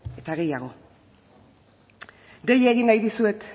eta gehiago dei egin nahi dizuet